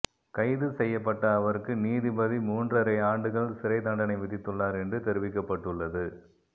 கைது செய்யப்பட்ட அவருக்கு நீதிபதி மூன்றரை ஆண்டுகள் சிறை தண்டனை விதித்துள்ளார் என்று தெரிவிக்கப்பட்டுள்ளது